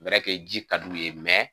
ji ka di u ye